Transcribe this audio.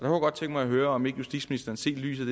jeg godt tænke mig at høre om ikke justitsministeren set i lyset